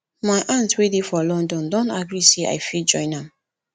my aunt wey dey for london don agree say i go fit join am